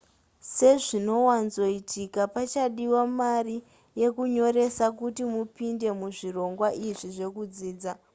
sezvinowanzoitika pachadiwa mari yekunyoresa kuti mupinde muzvirongwa izvi zvekudzidza